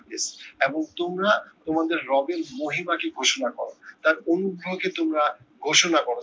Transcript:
এবং তোমরা তোমার রবের মহিমাটি ঘোষণা করো তার অনুভবকে তোমরা ঘোষণা করো।